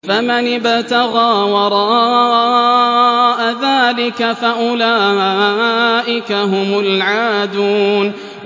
فَمَنِ ابْتَغَىٰ وَرَاءَ ذَٰلِكَ فَأُولَٰئِكَ هُمُ الْعَادُونَ